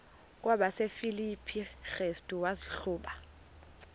kwabasefilipi restu wazihluba